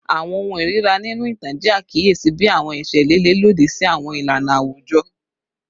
Awọn ohun irira ninu itan jẹ akiyesi bi awọn ẹṣẹ lile lodi si awọn ilana awujọ